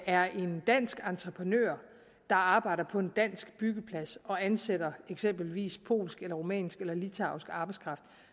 er en dansk entreprenør der arbejder på en dansk byggeplads og ansætter eksempelvis polsk rumænsk eller litauisk arbejdskraft